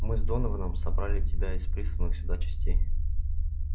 мы с донованом собрали тебя из присланных сюда частей